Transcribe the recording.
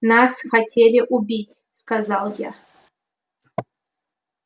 нас хотели убить сказал я